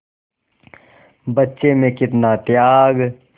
बच्चे में कितना त्याग